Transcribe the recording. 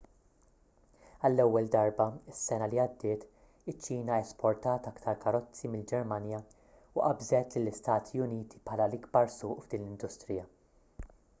għall-ewwel darba is-sena li għaddiet iċ-ċina esportat aktar karozzi mill-ġermanja u qabżet lill-istati uniti bħala l-ikbar suq f'din l-industrija